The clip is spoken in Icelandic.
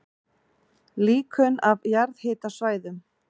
Líkön af jarðhitasvæðum